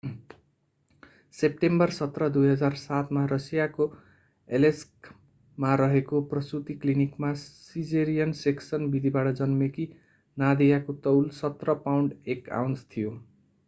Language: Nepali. सेप्टेम्बर 17 2007 मा रसियाको एलेस्कमा रहेको प्रसूति क्लिनिकमा सिजेरियन सेक्सन विधिबाट जन्मेकी नादियाको तौल 17 पाउण्ड 1 आउन्स थियो